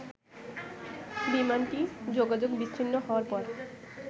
বিমানটি যোগাযোগ বিচ্ছিন্ন হওয়ার পর